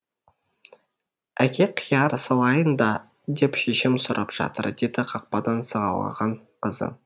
әке қияр салайын ба деп шешем сұрап жатыр деді қақпадан сығалаған қызы